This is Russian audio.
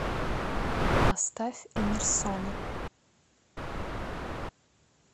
поставь эмерсона